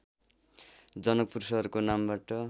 जनकपुर सहरको नामबाट